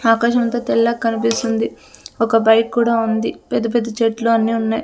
ఆకాశం అంతా తెల్లగ్ కనిపిస్తుంది ఒక బైక్ కూడా ఉంది పెద్ద పెద్ద చెట్లు అన్ని ఉన్నాయి.